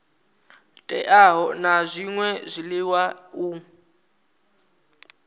teaho na zwṅwe zwiḽiwa u